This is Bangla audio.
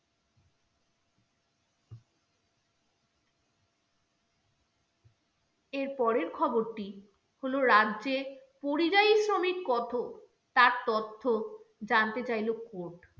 এর পরের খবরটি হলো, রাজ্যের পরিযায়ী শ্রমিক কত? তার তথ্য জানতে চাইলো court